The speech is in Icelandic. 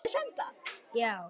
Þau eiga ekki börn saman.